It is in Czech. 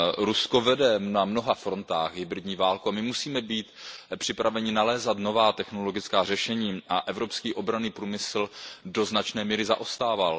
Rusko vede na mnoha frontách hybridní válku a my musíme být připraveni nalézat nová technologická řešení a evropský obranný průmysl do značné míry zaostával.